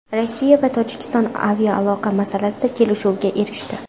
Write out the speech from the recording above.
Rossiya va Tojikiston aviaaloqa masalasida kelishuvga erishdi.